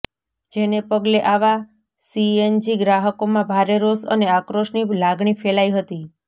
જેને પગલે આવા સીએનજી ગ્રાહકોમાં ભારે રોષ અને આક્રોશની લાગણી ફેલાઇ હતી